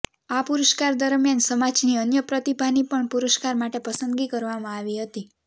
આ પુરષ્કાર દરમ્યાન સમાજની અન્ય પ્રતિભા ની પણ પુરષ્કાર માટે પસંદગી કરવામાં આવી હતી